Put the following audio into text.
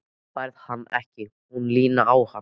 Þú færð hann ekki. hún Lína á hann!